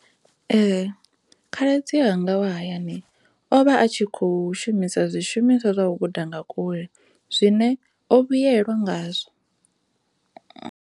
Ee, khaladzi yanga wa hayani ovha a tshi khou shumisa zwishumiswa zwa u guda nga kule zwine o vhuyelwa ngazwo.